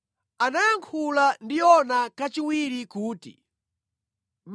Ndipo Yehova anayankhula ndi Yona kachiwiri kuti,